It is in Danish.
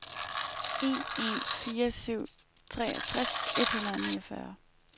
en en fire syv treogtres et hundrede og niogfyrre